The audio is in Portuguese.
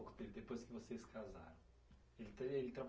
dele. Depois que vocês casaram. Ele tem, ele